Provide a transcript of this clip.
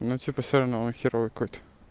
ему типа все равно херовый какой то